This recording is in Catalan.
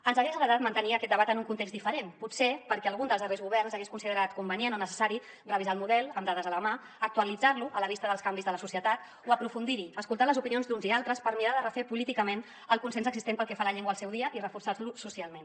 ens hagués agradat mantenir aquest debat en un context diferent potser perquè algun dels darrers governs hagués considerat convenient o necessari revisar el model amb dades a la mà actualitzar lo a la vista dels canvis de la societat o aprofundir hi escoltar les opinions d’uns i altres per mirar de refer políticament el consens existent pel que fa a la llengua al seu dia i reforçar lo socialment